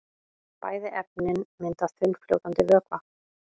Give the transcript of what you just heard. Bæði efnin mynda þunnfljótandi vökva.